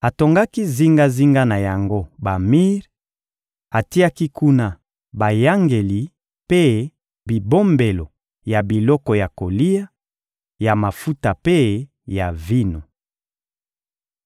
Atongaki zingazinga na yango bamir, atiaki kuna bayangeli mpe bibombelo ya biloko ya kolia, ya mafuta mpe ya vino.